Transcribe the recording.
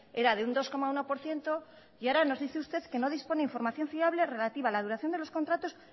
era de un dos coma uno por ciento y ahora nos dice usted de que no dispone información fiable relativa a la duración de los contratos